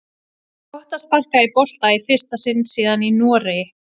Gott að sparka í bolta í fyrsta sinn síðan í Noregi!